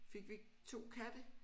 Fik vi 2 katte